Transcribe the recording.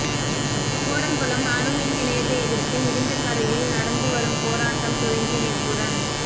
கூடங்குளம் அணு மின் நிலையத்தை எதிர்த்து இடிந்தகரையில் நடந்து வரும் போராட்டம் துவங்கி நேற்றுடன்